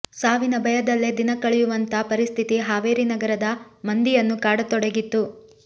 ಸಾವಿನ ಭಯದಲ್ಲೇ ದಿನ ಕಳೆಯುವಂತಾ ಪರಿಸ್ಥಿತಿ ಹಾವೇರಿ ನಗರದ ಮಂದಿಯನ್ನೂ ಕಾಡತೊಡಗಿತು